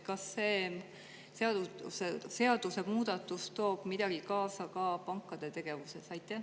Kas see seadusemuudatus toob midagi kaasa ka pankade tegevuses?